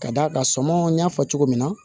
Ka d'a kan sɔmi n y'a fɔ cogo min na